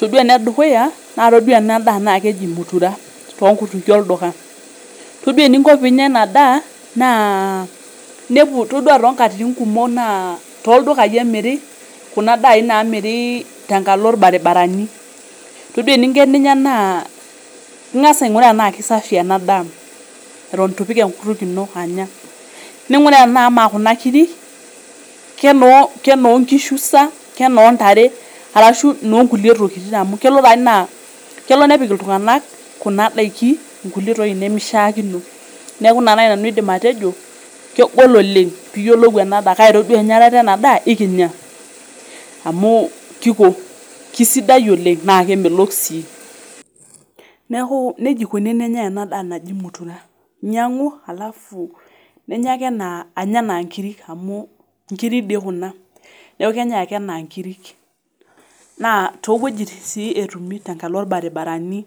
Ore enedukuya naa ore ena daa naa keji mutura too nkukutikie olduka, todua eninko piinya ena daa naa inepu todua toonkatitin kumok naa toodukai emir kuna daai naamiri tenkalo ilbaribarani. Todua eninko eninya naa ingasa ainguraa enaa kesafi ena daa atun itu ipik enkutunk ino anya, ninguraa enaa ama kuna kiri kenoonkishu sa kenontare enaa inoonkulie tokitin amu kelo nepik iltunganak kuna daikin ingulie tokitin nimishaakino. Neeku ina naai nanu aidim atejo, kegol oleng' piiyiolou endaa, kake todua enyatata ena daa naa ikinya.,amu kisidai oleng' naa kemelok sii. Neeku nejia eikoni enenyai ena daa naji mutura, inyiangu ninya ake anya anaa nikiri, amu inkiri dii kuna, neeku kenyai ake enaa inkiri, naatowojitin sii tenkalo ilbaribarani.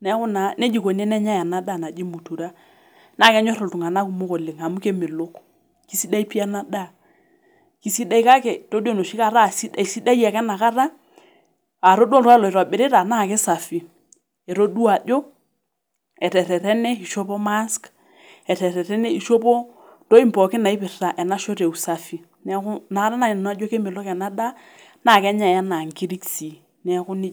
Neeku naa nejia eikoni enenyai ena daa naji mutura naa kenyor iltunganak kumok oleng' amu kemelok. Kisidai pii ena daa, kisidai kake todua enoshi kata aisidai ake enakata atodua ore oltungani aitobirita naa aisafi itodua ajo etererene ishopo mask, etererene ishopo intokitin pooki naipirta ena shoto eusafi. Neeku nakata naaji nanu ajo kemelok ena daa naa kenyai enaa inkirik sii, neeku nejia etiu.